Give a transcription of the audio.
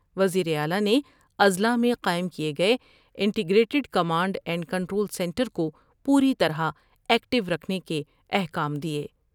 وزیر اعلی نے اضلاع میں قائم کئے گئے integrated command and control centre کو پوری طرح ایکٹیور کھنے کے احکام دیئے ۔